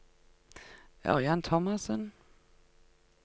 Ørjan Thomassen